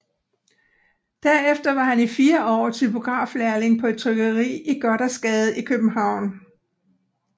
Derefter var han i fire år typograflærling på et trykkeri i Gothersgade i København